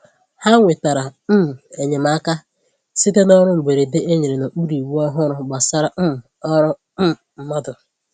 Ha nwetàrà um enyemaka site n’ọrụ mberede e nyere n’okpuru iwu ọhụrụ gbasàra um ọrụ um mmadụ